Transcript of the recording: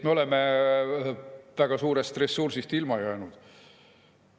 Me oleme väga suurest ressursist ilma jäänud.